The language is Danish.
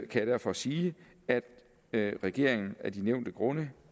jeg derfor sige at regeringen af de nævnte grunde